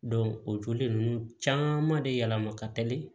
o joli ninnu caman de yɛlɛma ka teli